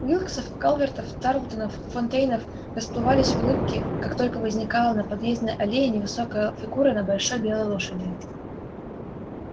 уилксов калвертов тарлтонов фонтейнов расплывались в улыбке как только возникала на подъездной аллее невысокая фигура на большой белой лошади